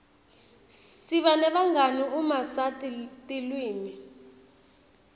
siba nebangani uma sati tilwimi